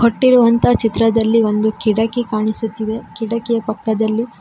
ಕೊಟ್ಟಿರುವಂತ ಚಿತ್ರದಲ್ಲಿ ಒಂದು ಕಿಟಕಿ ಕಾಣಿಸುತ್ತಿದೆ ಕಿಟಕಿಯ ಪಕ್ಕದಲ್ಲಿ--